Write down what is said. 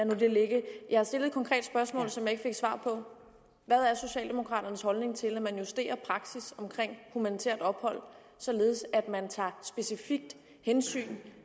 nu det ligge jeg stillede et konkret spørgsmål som jeg ikke fik svar på hvad er socialdemokraternes holdning til at man justerer praksis omkring humanitært ophold således at man tager specifikt hensyn